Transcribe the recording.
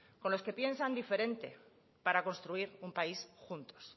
con los que piensan diferente para construir un país juntos